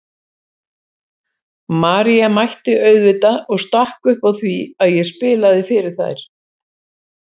María mætti auðvitað og stakk upp á því að ég spilaði fyrir þær.